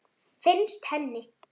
Finnst henni.